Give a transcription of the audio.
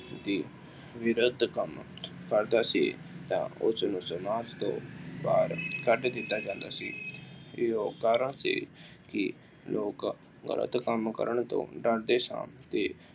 ਦੀ ਵਿਰੋਧਤਾ ਕਰਦਾ ਸੀ ਤਾਂ ਉਸਨੂੰ ਸਮਾਜ ਤੋਂ ਬਾਹਰ ਕੱਢ ਦਿੱਤਾ ਜਾਂਦਾ ਸੀ ਅਤੇ ਉਹ ਕਾਰਨ ਸੀ ਕਿ ਲੋਕ ਗਲਤ ਕੰਮ ਕਰਨ ਤੋਂ ਡਰਦੇ ਸਨ ਅਤੇ